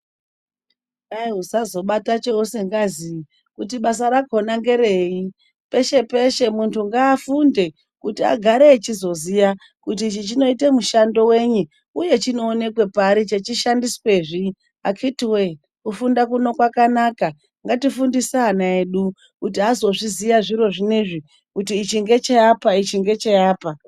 Kwai usazobata cheusingazii, kuti basa rakhona ngerei. Peshe peshe muntu ngaafunde, kuti agare echizoziya, kuti ichi chinoita mushando wenyi, uye chinoonekwe pari chechishandiswezvi. Akhiti woye kufunda kuno kwakanaka, ngatifundise ana edu, kuti azozviziya zviro zvinezvi, kuti ichi ngecheapa ichi ngecheapa.